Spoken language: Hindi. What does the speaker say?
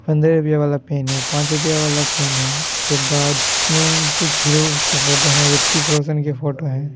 पंद्रह रुपया वाला पेन है पाँच रुपया वाला पेन है उसके बाद इसमें कुछ हीरो के फोटो हैं रितिक रौशन के फोटो है।